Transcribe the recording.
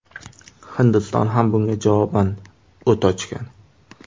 Hindiston ham bunga javoban o‘t ochgan.